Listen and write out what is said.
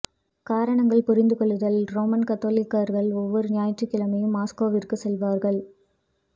காரணங்கள் புரிந்து கொள்ளுதல் ரோமன் கத்தோலிக்கர்கள் ஒவ்வொரு ஞாயிற்றுக்கிழமையும் மாஸ்கோவிற்கு செல்வார்கள்